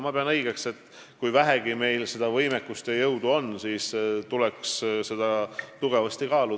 Mina pean õigeks, et kui meil on vähegi võimekust ja jõudu, siis tuleks seda tugevasti kaaluda.